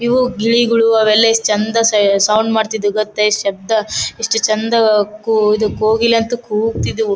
ಇವು ಗಿಳಿಗಳು ಅವೆಲ್ಲಾ ಎಷ್ಟ ಚಂದ್ ಸೌಂಡ್ ಮಾಡತ್ತಿದ್ದವಿ ಗೊತ್ತಾ ಎಷ್ಟ ಶಬ್ದ ಎಷ್ಟ ಚಂದ್ ಕು ಕೋಗಿಲೆ ಅಂತ ಕೂಗ್ತಿದ್ದವು .